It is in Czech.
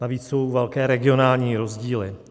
Navíc jsou velké regionální rozdíly.